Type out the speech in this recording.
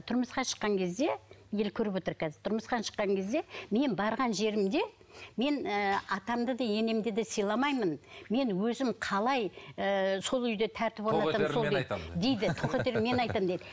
тұрмысқа шыққан кезде ел көріп отыр қазір тұрмысқа шыққан кезде мен барған жерімде мен ы атамды да енемді де сыйламаймын мен өзім қалай ыыы сол үйде тәртіп орнатамын тоқетерін мен айтамын дейді